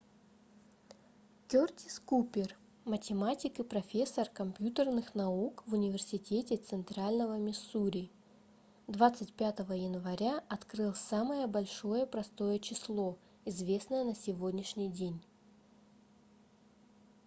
кёртис купер математик и профессор компьютерных наук в университете центрального миссури 25 января открыл самое большое простое число известное на сегодняшний день